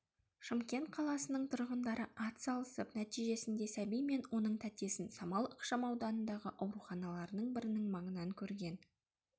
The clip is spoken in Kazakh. шымкент қаласының тұрғындары атсалысып нәтижесінде сәби мен оның тәтесін самал ықшамауданындағы ауруханалардың бірінің маңынан көрген